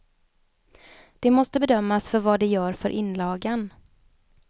Det måste bedömas för vad det gör för inlagan.